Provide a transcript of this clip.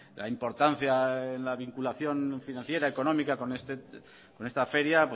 la importancia en la vinculación financiera económica con esta feria